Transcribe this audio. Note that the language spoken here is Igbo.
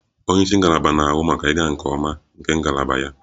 Onye isi ngalaba na-ahụ maka ịga nke ọma nke ngalaba ya / ya